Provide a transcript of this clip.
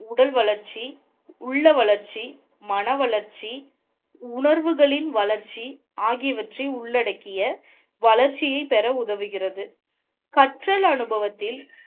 உடல் வளர்ச்சி உள்ள வளர்ச்சி மனா வளர்ச்சி உணர்வுகளின் வளர்ச்சி ஆகியவற்றை உள்ளடக்கிய வளர்ச்சியை பெற உதவுகிறது. கற்றல் அனுபவத்தில்,